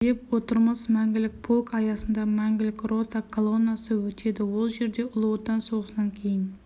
деп отырмыз мәңгілік полк аясында мәңгілік рота колоннасы өтеді ол жерде ұлы отан соғысынан кейін